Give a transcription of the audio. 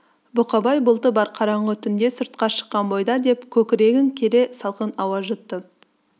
бұқабай бұлты бар қараңғы түнде сыртқа шыққан бойда деп көкірегін кере салқын ауа жұтты